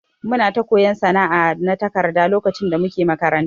Muna ta koyon sana'a na takarda lokacin da muke makaranta.